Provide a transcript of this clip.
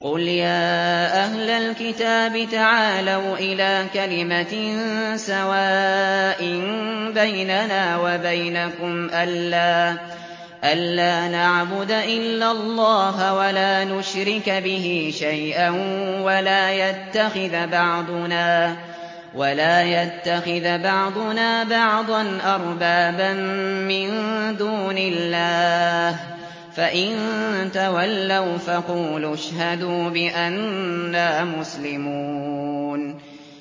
قُلْ يَا أَهْلَ الْكِتَابِ تَعَالَوْا إِلَىٰ كَلِمَةٍ سَوَاءٍ بَيْنَنَا وَبَيْنَكُمْ أَلَّا نَعْبُدَ إِلَّا اللَّهَ وَلَا نُشْرِكَ بِهِ شَيْئًا وَلَا يَتَّخِذَ بَعْضُنَا بَعْضًا أَرْبَابًا مِّن دُونِ اللَّهِ ۚ فَإِن تَوَلَّوْا فَقُولُوا اشْهَدُوا بِأَنَّا مُسْلِمُونَ